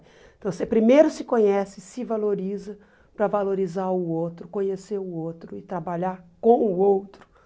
Então você primeiro se conhece, se valoriza para valorizar o outro, conhecer o outro e trabalhar com o outro